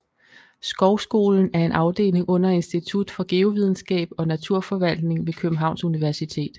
Skovskolen er en afdeling under Institut for Geovidenskab og Naturforvaltning ved Københavns Universitet